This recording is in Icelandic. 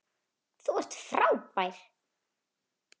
Þú ert frábær!